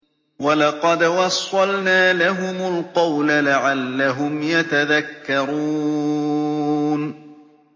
۞ وَلَقَدْ وَصَّلْنَا لَهُمُ الْقَوْلَ لَعَلَّهُمْ يَتَذَكَّرُونَ